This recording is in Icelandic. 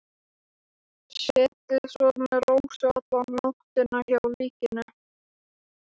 Setið svo með Rósu alla nóttina hjá líkinu.